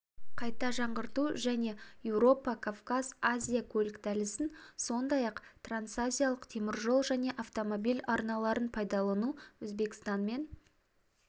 қайта жаңғырту және еуропа-кавказ-азия көлік дәлізін сондай ақ трансазиялық теміржол және автомобиль арналарын пайдалану өзбекстанмен